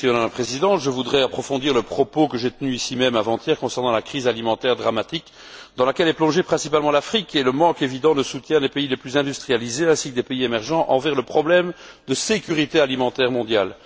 Madame la Présidente, je voudrais approfondir le propos que j'ai tenu ici même avant hier concernant la crise alimentaire dramatique dans laquelle est plongée principalement l'Afrique, et le manque évident de soutien des pays les plus industrialisés, ainsi que des pays émergents, envers le problème de sécurité alimentaire mondiale.